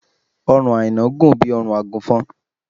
ọrùn aina gùn bí órùn agùnfọn